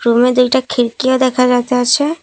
রুমে দুইটা খিরকিও দেখা যাইতাছে।